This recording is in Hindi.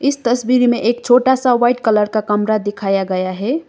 तस्वीर में एक छोटा सा व्हाइट कलर का कमरा दिखाया गया है।